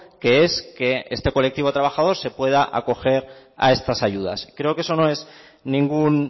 que es que este colectivo trabajador se pueda acoger a estas ayudas creo que eso no es ningún